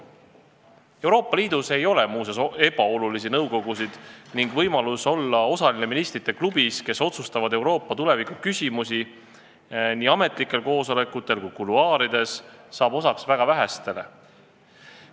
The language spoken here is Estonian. Euroopa Liidus ei ole muide ebaolulisi nõukogusid ning võimalus olla osaline ministrite klubis, kes otsustab Euroopa tuleviku küsimusi nii ametlikel koosolekutel kui kuluaarides, saab osaks väga vähestele.